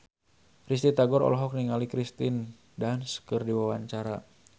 Risty Tagor olohok ningali Kirsten Dunst keur diwawancara